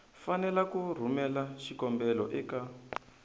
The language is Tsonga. fanele ku rhumela xikombelo eka